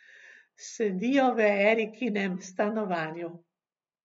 Sedijo v Erikinem stanovanju.